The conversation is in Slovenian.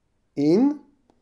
In?